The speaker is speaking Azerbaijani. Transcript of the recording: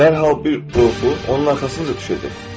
dərhal bir qorxu onun arxasınca düşəcək.